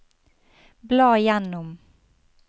bla gjennom